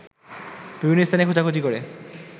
বিভিন্ন স্থানে খোঁজাখুঁজি করে